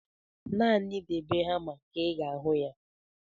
Naanị debe hama ka ị ga-ahụ ya.